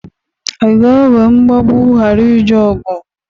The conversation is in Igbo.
A ga-ekwe mgbagbụ ghara ije ọgụ?